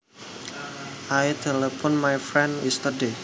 I telephoned my friend yesterday